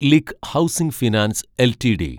LIC housing finance LTD